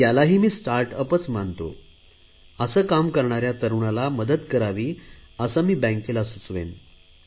यालाही मी स्टार्ट अपच मानतो असे काम करणाऱ्या तरुणाला मदत करावी असे मी बँकेला सुचवेन